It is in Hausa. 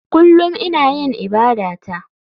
Kullum ina yin ibadata.